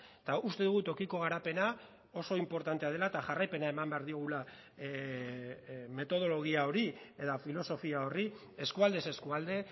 eta uste dugu tokiko garapena oso inportantea dela eta jarraipena eman behar diogula metodologia hori eta filosofia horri eskualdez eskualde